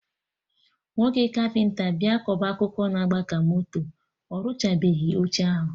Nwoke kapịnta bịa kọba akụkọ na-agba ka moto, orụchabeghi oche ahụ